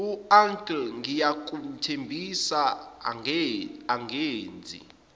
uncle ngiyakuthembisa angenzi